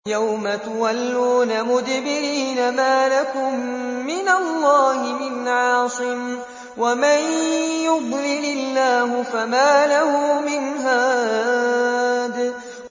يَوْمَ تُوَلُّونَ مُدْبِرِينَ مَا لَكُم مِّنَ اللَّهِ مِنْ عَاصِمٍ ۗ وَمَن يُضْلِلِ اللَّهُ فَمَا لَهُ مِنْ هَادٍ